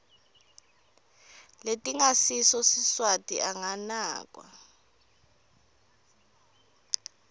letingasiso siswati anganakwa